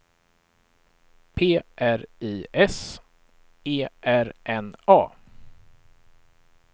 P R I S E R N A